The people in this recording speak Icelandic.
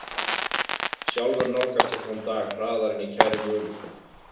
Sjálfur nálgast ég þann dag hraðar en ég kæri mig um.